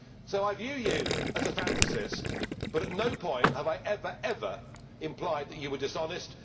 So I view you as a fantasist, but at no point have I ever, ever implied that you were dishonest.